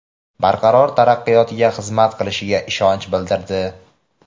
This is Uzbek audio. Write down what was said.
barqaror taraqqiyotiga xizmat qilishiga ishonch bildirdi.